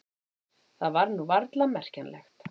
Það var nú varla merkjanlegt.